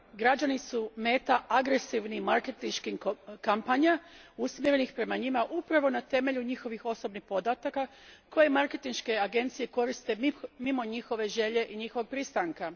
Građani su meta agresivnih marketinških kampanja usmjerenih prema njima upravo na temelju njihovih osobnih podataka koje marketinške agencije koriste mimo njihove želje i njihovog pristanka.